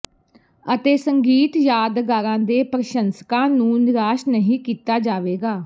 ਅਤੇ ਸੰਗੀਤ ਯਾਦਗਾਰਾਂ ਦੇ ਪ੍ਰਸ਼ੰਸਕਾਂ ਨੂੰ ਨਿਰਾਸ਼ ਨਹੀਂ ਕੀਤਾ ਜਾਵੇਗਾ